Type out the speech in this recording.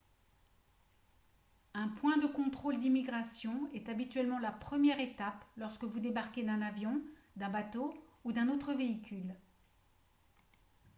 un point de contrôle d'immigration est habituellement la première étape lorsque vous débarquez d'un avion d'un bateau ou d'un autre véhicule